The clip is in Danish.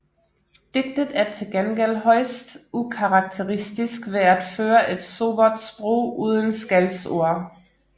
Digtet er til gengæld højst ukarakteristisk ved at føre et sobert sprog uden skældsord